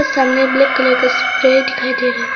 सामने black colour का spray दिखाई दे रहा है।